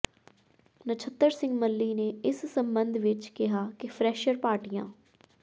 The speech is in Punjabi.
ਨਛੱਤਰ ਸਿੰਘ ਮੱਲ੍ਹੀ ਨੇ ਇਸ ਸਬੰਧ ਵਿਚ ਕਿਹਾ ਕਿ ਫਰੈਸ਼ਰ ਪਾਰਟੀਆਂ